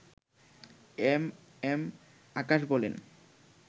M M Akash বলেন